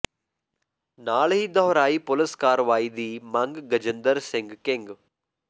ਨਾਲ ਹੀ ਦੋਹਰਾਈ ਪੁਲਿਸ ਕਾਰਵਾਈ ਦੀ ਮੰਗ ਗਜਿੰਦਰ ਸਿੰਘ ਕਿੰਗ